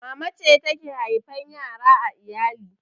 Mama ce take haifan yara a iyali